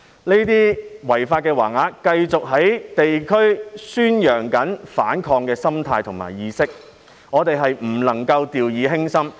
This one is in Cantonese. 這類違法橫額繼續在地區宣揚反抗的心態和意識，我們不能夠掉以輕心。